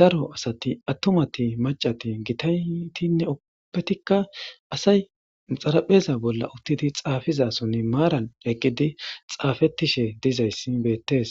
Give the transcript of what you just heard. daro asati attomati macati gitaytinne oppetikka asay xarapheza bolla uttidi xaafizasonne maaran eqqidi xaafetishe dizayssi beettes.